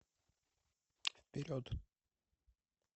вперед